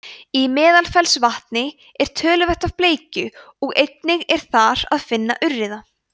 í meðalfellsvatni er töluvert af bleikju og einnig er þar að finna urriða